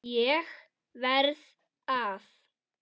ÉG VERÐ AÐ